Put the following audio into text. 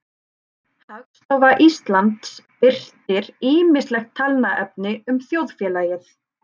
Hagstofa Íslands birtir ýmislegt talnaefni um þjóðfélagið.